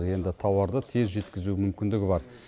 енді тауарды тез жеткізу мүмкіндігі бар